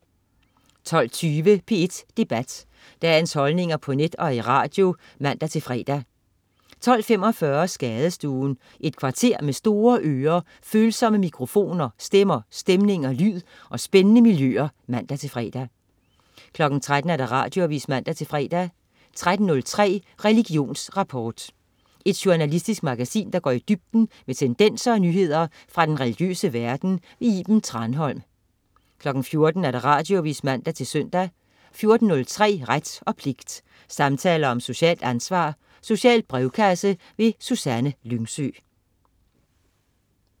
12.20 P1 Debat. Dagens holdninger på net og i radio (man-fre) 12.45 Skadestuen. Et kvarter med store ører, følsomme mikrofoner, stemmer, stemninger, lyd og spændende miljøer (man-fre) 13.00 Radioavis (man-fre) 13.03 Religionsrapport. Et journalistisk magasin, der går i dybden med tendenser og nyheder fra den religiøse verden. Iben Thranholm 14.00 Radioavis (man-søn) 14.03 Ret og pligt. Samtaler om socialt ansvar. Social brevkasse. Susanne Lyngsø